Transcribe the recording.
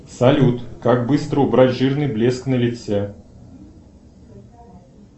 салют как быстро убрать жирный блеск на лице